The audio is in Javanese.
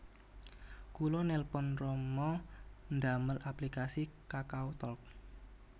Kula nelpon rama ndamel aplikasi KakaoTalk